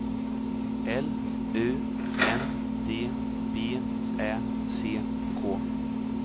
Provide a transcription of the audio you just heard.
L U N D B Ä C K